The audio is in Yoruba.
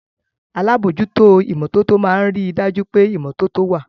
Alábòójútó ìmọ́tótó máa ń rí dájú pé ìmọ́tótó wà